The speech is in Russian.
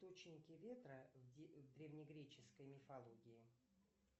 источники ветра в древнегреческой мифологии